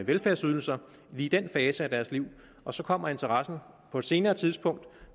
velfærdsydelser lige i den fase af deres liv og så kommer interessen på et senere tidspunkt